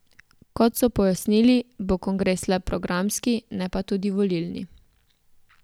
Kot so pojasnili, bo kongres le programski, ne pa tudi volilni.